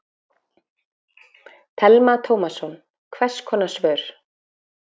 Telma Tómasson: Hvers konar svör?